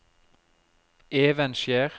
Evenskjer